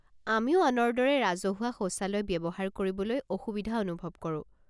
আমিও আনৰ দৰে ৰাজহুৱা শৌচালয় ব্যৱহাৰ কৰিবলৈ অসুবিধা অনুভৱ কৰো।